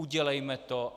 Udělejme to.